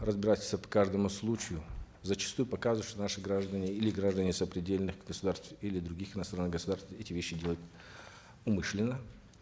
разбирательства по каждому случаю зачастую показывают что наши граждане или граждане сопредельных государств или других иностранных государств эти вещи делают умышленно